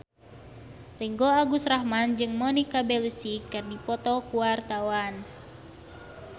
Ringgo Agus Rahman jeung Monica Belluci keur dipoto ku wartawan